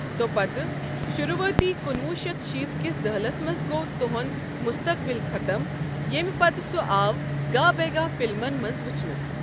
تۄپتہٕ، شروعاتی کُنوُہ شیتھ شیت کِس دہلس منٛز گوٚو تہنٛد مُستَقبٕل ختم یمہِ پتہٕ سُہ آو گاہ بٮ۪گاہ ِفلمَن منٛز وُچھنہٕ۔